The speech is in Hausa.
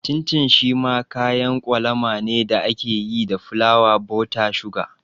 Cin cin shi ma kayan kwalama ne da ake yi da fulawa, buta, suga